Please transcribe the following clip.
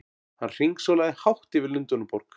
Hann hringsólaði hátt yfir Lundúnaborg!